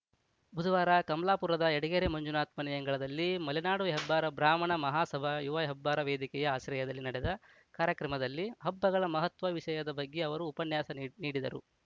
ಬುಧವಾರ ಕಮಾಲಾಪುರದ ಯಡಗೆರೆ ಮಂಜುನಾಥ್‌ ಮನೆಯಂಗಳದಲ್ಲಿ ಮಲೆನಾಡು ಹೆಬ್ಬಾರ ಬ್ರಾಹ್ಮಣ ಮಹಾ ಸಭಾ ಯುವ ಹೆಬ್ಬಾರ ವೇದಿಕೆಯ ಆಶ್ರಯದಲ್ಲಿ ನಡೆದ ಕಾರ್ಯಕ್ರಮದಲ್ಲಿ ಹಬ್ಬಗಳ ಮಹತ್ವ ವಿಷಯದ ಬಗ್ಗೆ ಅವರು ಉಪನ್ಯಾಸ ನೀ ನೀಡಿದರು